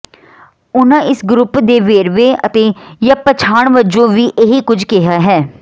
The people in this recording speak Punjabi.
ਉਹਨਾਂ ਇਸ ਗਰੁੱਪ ਦੇ ਵੇਰਵੇ ਅਤੇ ਜਾਂ ਪਛਾਣ ਵਜੋਂ ਵੀ ਇਹੀ ਕੁਝ ਕਿਹਾ ਹੈ